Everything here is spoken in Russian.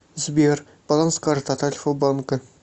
сбер баланс карты от альфа банка